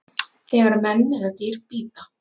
þegar menn eða dýr bíta